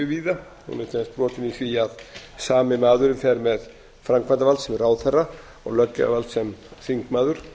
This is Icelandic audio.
víða hún er til dæmis brotin í því að sami maðurinn fer með framkvæmdarvald sem ráðherra og löggjafarvald sem þingmaður